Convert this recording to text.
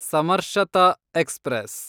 ಸಮರ್ಶತ express